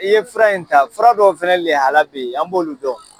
I ye fura in ta fura dɔw fɛnɛ lihaliya an b'olu dɔn